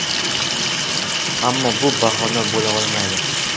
Ammo bu bahona bo‘la olmaydi.